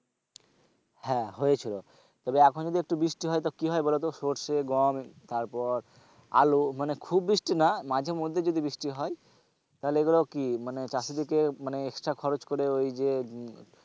হ্যাঁ হয়েছিল তবে এখন যদি একটু বৃষ্টি হয় তো কি হয় বলতো সরষে গম তারপর আলু, মানে খুব বৃষ্টি না মাঝে মধ্যে যদি বৃষ্টি হয় তাহলে এগুলো কি মানে চাষীদেরকে মানে extra খরচ করে ওই যে,